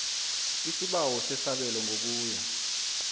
isibawo sesabelo ngokuya